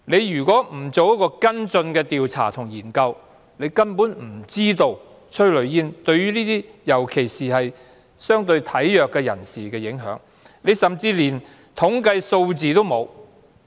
如果局方不進行跟進調查和研究，根本無法知道催淚煙的影響，尤其是對相對體弱人士的影響，而局長甚至連統計數字也沒有。